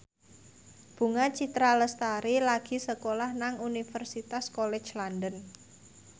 Bunga Citra Lestari lagi sekolah nang Universitas College London